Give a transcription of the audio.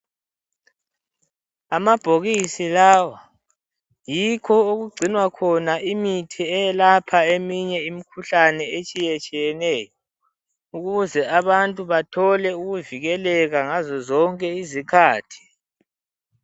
Amabhokisi lawa yikho okugcinwa khona imithi eyelapha eminye imkhuhlane etshiyetshiyeneyo ukuze abantu bathole ukuvikeleka ngazozonke izikhathi.